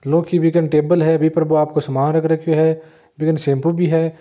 लौह की बिकन टेबल हैं बि पर बो आपको सामान रख रखियो है बि कन शैम्पू भी है।